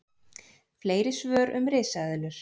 Fleiri svör um risaeðlur: